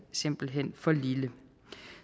simpelt hen for lille